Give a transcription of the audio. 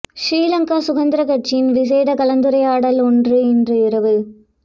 ஸ்ரீ லங்கா சுதந்திரக் கட்சியின் விசேட கலந்துரையாடல் ஒன்று இன்று இரவு